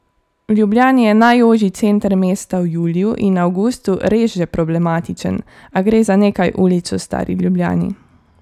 V Ljubljani je najožji center mesta v juliju in avgustu res že problematičen, a gre za nekaj ulic v stari Ljubljani.